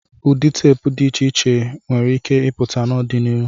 Ụdị teepu dị iche iche nwere ike ịpụta n'ọdịnihu.